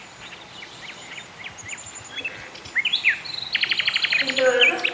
শুনতে পেরেছো?